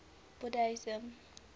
buddhism